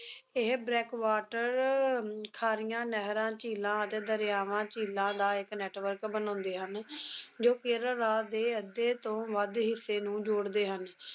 ਇਹ brake water ਅਹ ਖਾਰੀਆਂ ਨਹਿਰਾਂ, ਝੀਲਾਂ ਅਤੇ ਦਰਿਆਵਾਂ, ਝੀਲਾਂ ਦਾ ਇੱਕ network ਬਣਾਉਂਦੇ ਹਨ, ਜੋ ਕੇਰਲ ਰਾਜ ਦੇ ਅੱਧੇ ਤੋਂ ਵੱਧ ਹਿੱਸੇ ਨੂੰ ਜੋੜਦੇ ਹਨ।